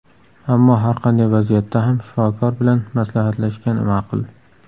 Ammo har qanday vaziyatda ham shifokor bilan maslahatlashgan ma’qul.